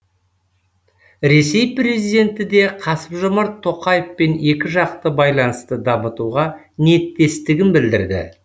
ресей президенті де қасым жомарт тоқаевпен екіжақты байланысты дамытуға ниеттестігін білдірді